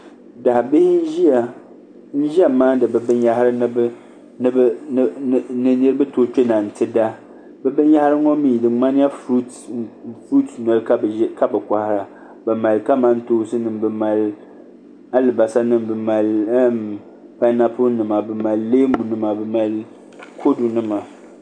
Daa bihi n ʒiya maandi bi binyahari ni bi tooi kpɛna n ti da bi binyahari ŋo mii di ŋmanila furuut noli ka bi kohara bi mali kamantoosi nima bi mali alibarisa nima bi mali painapuli nima bi mali leemu nima bi mali kodu nima